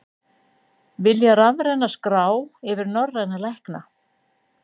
Vilja rafræna skrá yfir norræna lækna